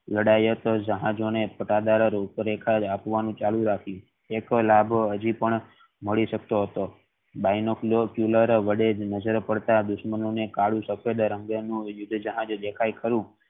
લડાયત જહાજો ને રૂપ રેખા આપવાનું ચાલુ રાખીયું એક લેબ હાજી પણ મળી શકતો હતો નજર પડતા કાળું સફેદ રંગ નું જહાજ દેખાય ખરું